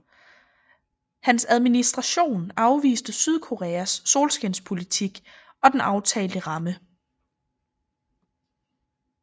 Hans administration afviste Sydkoreas solskinspolitik og den aftalte ramme